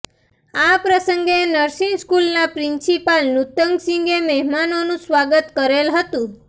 આ પ્રસંગે નર્સિંગ સ્કૂલના પ્રિન્સિપાલ નુતનસિંગે મહેમાનોનું સ્વાગત કરેલ હતું